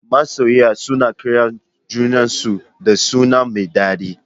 Masoya suna kiran junan su da suna mai dadi